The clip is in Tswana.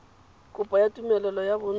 kopo ya tumelelo ya bonno